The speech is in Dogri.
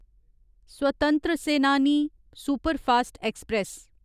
स्वतंत्र सेनानी सुपरफास्ट ऐक्सप्रैस